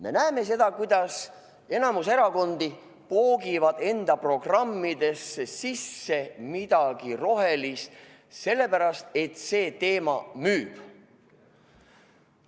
Me näeme seda, kuidas enamik erakondi poogib enda programmidesse sisse midagi rohelist, sellepärast et see teema müüb.